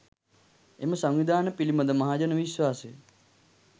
එම සංවිධාන පිළිබඳ මහජන විශ්වාසය